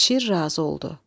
Şir razı oldu.